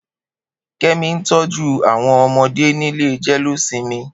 Kemi n tọjú awọn ọmọdé nilé jẹ̀léósìmì